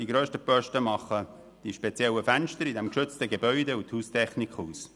Die grössten Posten machen bei diesem geschützten Gebäude die speziellen Fenster und die Haustechnik aus.